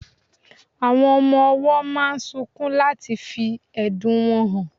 Awón ọmọ owó máa sunkún láti fí ẹ̀dùn wọn hàn